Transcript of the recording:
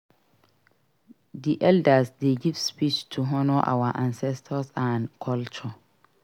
Di elders dey give speech to honor our ancestors and culture.